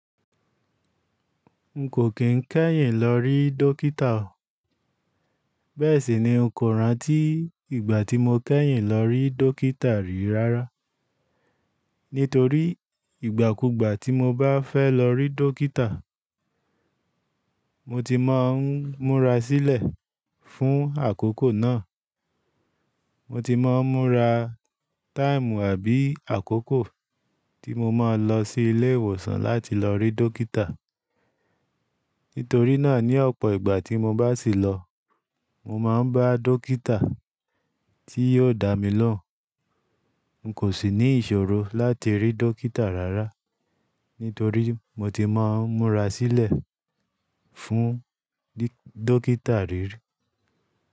N kò kín kẹ́yìn ló rí dókítà o. Bẹ́ẹ̀ sì ni n kò rántí ìgbà tí mo kẹ́yìn ló rí dókítà rí rárá. Nítorí ìgbà kugbà tí mo bá fẹ́ lọ rí dókítà mo ti má n múra sílẹ̀ fún àkókò náà. Moti má n múra táìmù àbí àkókò tí mo má n lọ sí ilé ìwòsàn láti lọ rí dókítà. Nítorí náà ní ọ̀pọ̀ ìgbà tí mo bá sì lọ, mo máa n bá dókítà tí yóò dá mi lohun. N kò sì ní ìṣòro láti rí dókítà rárá, nítorí moti má n múra sílẹ̀ fún dókítà rí.